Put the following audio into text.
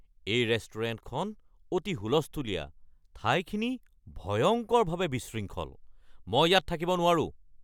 এই ৰেষ্টুৰেণ্টখন অতি হুলস্থূলীয়া, ঠাইখিনি ভয়ংকৰভাৱে বিশৃংখল, মই ইয়াত থাকিব নোৱাৰোঁ।